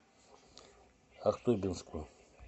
ахтубинску